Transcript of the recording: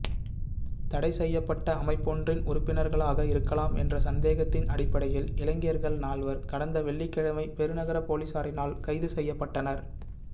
தடைசெய்யப்பட்ட அமைப்பொன்றின் உறுப்பினர்களாக இருக்கலாம் என்ற சந்தேகத்தின் அடிப்படையில் இலங்கையர்கள் நால்வர் கடந்த வௌ்ளிக்கிழமை பெருநகர பொலிஸாரினால் கைதுசெய்யப்பட்டனர்